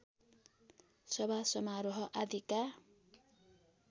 सभा समारोह आदिका